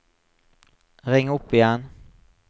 ring opp igjen